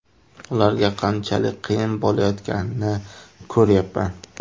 Ularga qanchalik qiyin bo‘layotganini ko‘ryapman.